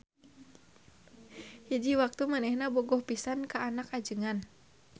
Hiji waktu manehna bogoh pisan ka anak ajengan.